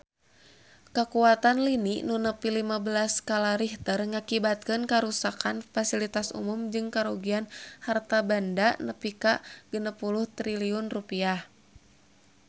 Kakuatan lini nu nepi lima belas skala Richter ngakibatkeun karuksakan pasilitas umum jeung karugian harta banda nepi ka 60 triliun rupiah